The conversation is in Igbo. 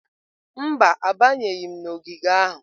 Mba, abanyeghị m n'ogige ahụ.